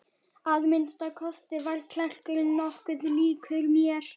Að minnsta kosti var klerkurinn nokkuð líkur mér.